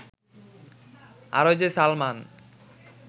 RJ Salman